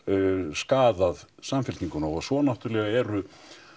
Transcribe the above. skaðað Samfylkinguna og svo náttúrulega eru